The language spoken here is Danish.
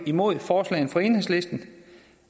imod forslagene fra enhedslisten